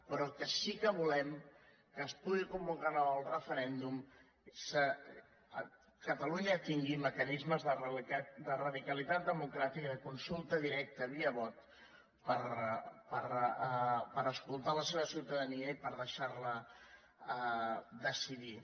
però que sí que volem que es pugui convocar el referèndum que catalunya tingui mecanismes de radicalitat democràtica de consulta directa via vot per escoltar la seva ciutadania i per deixar la decidir